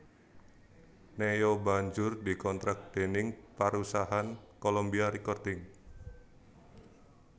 Ne Yo banjur dikontrak déning parusahan Colombia Recording